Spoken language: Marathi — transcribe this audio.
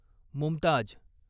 मुमताज